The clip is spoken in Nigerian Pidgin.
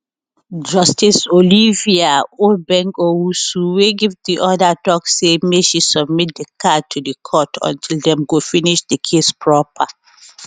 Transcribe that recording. justice olivia obeng owusu wey give di order tok say make she submit di car to di court until dem go finish di case proper